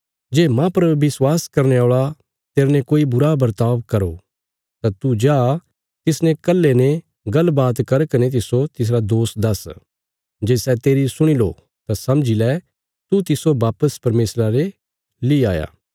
जे माह पर विश्वास करने औल़ा तेरने कोई बुरा बर्ताव करो तां तू जा तिसने कल्हे ने गल्ल बात कर कने तिस्सो तिसरा दोष दस्स जे सै तेरी सुणी लो तां समझी लै तू तिस्सो वापिस परमेशरा ले ली आया